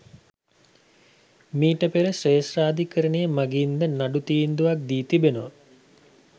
මිට පෙර ශ්‍රේෂ්ඨාධිකරණය මගින් ද නඩු තීන්දුවක් දී තිබෙනවා.